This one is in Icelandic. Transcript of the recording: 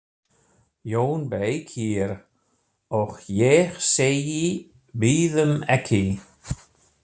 JÓN BEYKIR: Og ég segi: Bíðum ekki!